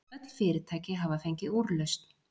Öll fyrirtæki hafa fengið úrlausn